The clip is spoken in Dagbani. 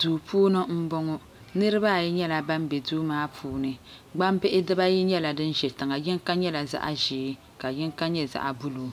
Duu puuni m boŋɔ niriba ayi nyɛla ban be duu maa puuni gbambihi dibaayi nyɛla din za tiŋa yinka nyɛla zaɣa ʒee ka ka yinka nyɛ zaɣa buluu